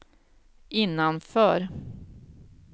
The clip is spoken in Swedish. innanför